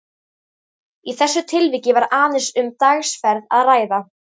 Í þessu tilviki var aðeins um dagsferð að ræða.